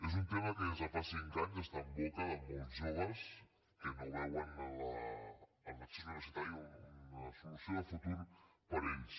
és un tema que des de fa cinc anys està en boca de molts joves que no veuen en l’accés universitari una solució de futur per a ells